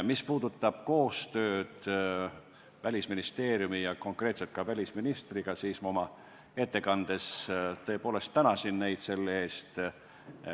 Mis puudutab koostööd Välisministeeriumi ja konkreetselt välisministriga, siis ma oma ettekandes tõepoolest tänasin neid selle eest.